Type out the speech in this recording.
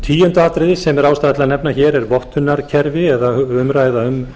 tíunda atriðið sem er ástæða til að nefna hér er vottunarkerfi eða umræða um